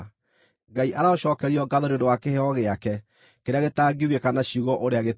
Ngai arocookerio ngaatho nĩ ũndũ wa kĩheo gĩake kĩrĩa gĩtangiugĩka na ciugo ũrĩa gĩtariĩ!